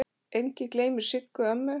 Enginn gleymir Siggu ömmu.